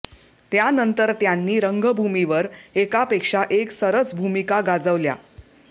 त्यानंतर त्यांनी रंगभूमीवर एकापेक्षा एक सरस भूमिका गाजवल्या